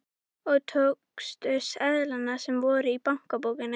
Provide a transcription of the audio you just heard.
Og tókstu seðlana sem voru í bankabókinni?